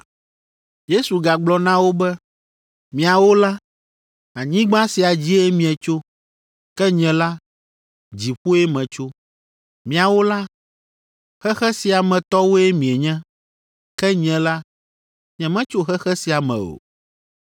Yesu gagblɔ na wo be, “Miawo la, anyigba sia dzie mietso, ke nye la, dziƒoe metso. Miawo la, xexe sia me tɔwoe mienye, ke nye la, nyemetso xexe sia me o.